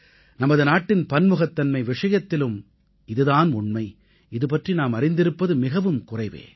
நமது நாட்டின் பன்முகத்தன்மை விஷயத்திலும் இதுதான் உண்மை அது பற்றி நாம் அறிந்திருப்பது மிகக் குறைவே